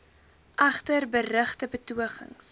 egter berugte betogings